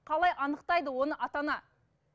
қалай анықтайды оны ата ана